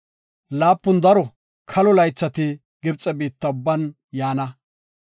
Laapun daro kalo laythati Gibxe biitta ubban yaana.